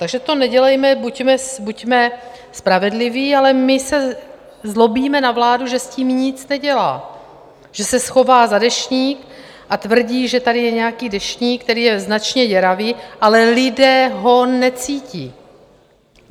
Takže to nedělejme, buďme spravedliví, ale my se zlobíme na vládu, že s tím nic nedělá, že se schová za Deštník a tvrdí, že tady je nějaký deštník, který je značně děravý, ale lidé ho necítí.